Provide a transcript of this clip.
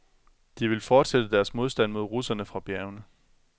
De vil fortsætte deres modstand mod russerne fra bjergene.